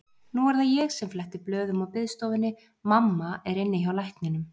Nú er það ég sem fletti blöðum á biðstofunni, mamma er inni hjá lækninum.